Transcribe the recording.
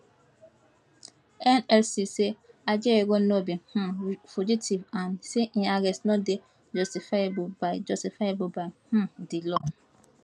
nlc say ajaero no be um fugitive and say im arrest no dey justifiable by justifiable by um di law